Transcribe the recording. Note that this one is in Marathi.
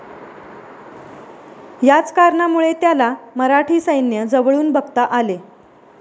याच कारणामुळे, त्याला मराठी सैन्य जवळून बघता आले.